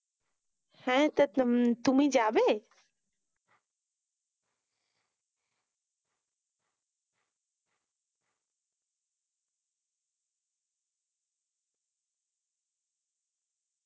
হ্যাঁ তা তুমি যাবে?